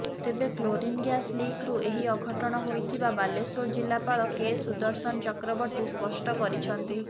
ତେବେ chlorine gas ଲିକ୍ରୁ ଏହି ଅଘଟଣ ହୋଇଥିବା ବାଲେଶ୍ୱର ଜିଲ୍ଲାପାଳ କେ ସୁଦର୍ଶନ ଚକ୍ରବର୍ତ୍ତୀ ସ୍ପଷ୍ଟ କରିଛନ୍ତି